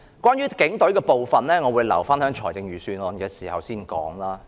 關於警隊的部分，我會留待預算案辯論時再說。